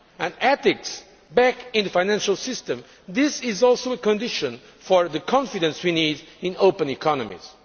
Putting ethics back in the financial system is also a condition for the confidence we need in open economies.